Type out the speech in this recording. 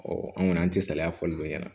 an kɔni an tɛ saliya fɔli bɛ ɲɛna